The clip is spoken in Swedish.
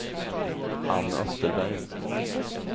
Ann Österberg